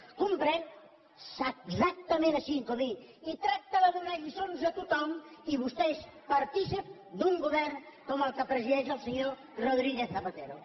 ho comprèn exactament així comín i tracta de donar lliçons a tothom i vostè és partícip d’un govern com el que presideix el senyor rodríguez zapatero